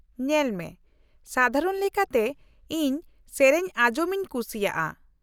-ᱧᱮᱞ ᱢᱮ, ᱥᱟᱫᱷᱟᱨᱚᱱ ᱞᱮᱠᱟᱛᱮ ᱤᱧ ᱥᱮᱹᱨᱮᱹᱧ ᱟᱸᱡᱚᱢ ᱤᱧ ᱠᱩᱥᱤᱭᱟᱜᱼᱟ ᱾